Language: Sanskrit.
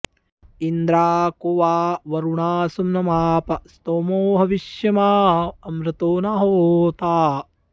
इन्द्रा॒ को वां॑ वरुणा सु॒म्नमा॑प॒ स्तोमो॑ ह॒विष्माँ॑ अ॒मृतो॒ न होता॑